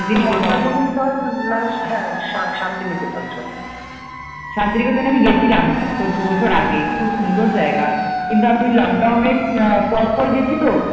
শান্তিনিকেতনে আমি গেছিলাম তোর দু বছর আগে খুব সুন্দর জায়গা কিন্তু আমি ওই লক ডাউন এর পরপর গেছি তো